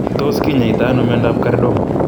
Tos kinyaitaa anoo miondoop kordoma?